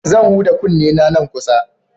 Zan huda kunnena nan kusa.